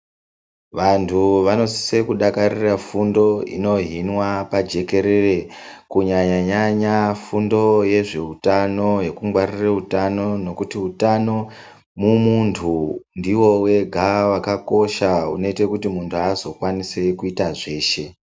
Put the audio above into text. Vanthu vanosisa kudakarire fundo inohinwa pajekerere kunyanyanya fundo yezveutano yekungwarira utano mumunthu ngokuti utamo mumunthu ndiwo wega wakakosha unoite kuti munthu azokwanisa kuite zveshe.